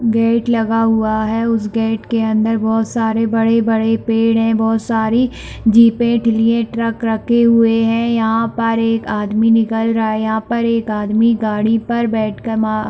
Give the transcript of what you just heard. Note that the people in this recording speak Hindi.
गेट लगा हुआ है उस गेट के अंदर बहुत सारे बड़े - बड़े पेड़ है बहुत सारी जीपे ट्रक {truck रख रखे हुये है यहाँ पर एक आदमी निकल रहा है यहाँ पर एक आदमी गाड़ी पर बैठ कर मा --}